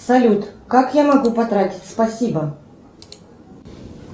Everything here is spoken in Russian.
салют как я могу потратить спасибо